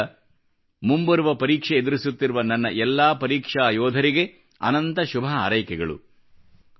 ಆದ್ದರಿಂದ ಮುಂಬರುವ ಪರೀಕ್ಷೆ ಎದುರಿಸುತ್ತಿರುವ ನನ್ನ ಎಲ್ಲ ಪರೀಕ್ಷಾ ಯೋಧರಿಗೆ ಅನಂತ ಶುಭ ಹಾರೈಕೆಗಳು